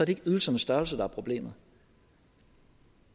ikke ydelsernes størrelse der er problemet